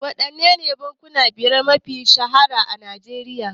Waɗannene bankuna biyar mafiya shahara a Nigeria?